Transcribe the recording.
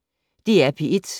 DR P1